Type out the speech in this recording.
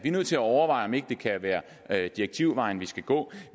er nødt til at overveje om ikke det kan være direktivvejen vi skal gå